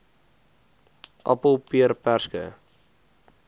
appel peer perske